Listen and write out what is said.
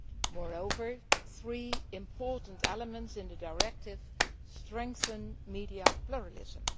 Moreover, three important elements in the directive strengthen media pluralism.